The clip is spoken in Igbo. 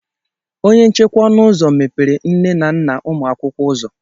Onye nchekwa ọnụ ụzọ mepere nne na nna ụmụ akwụkwọ ụzọ.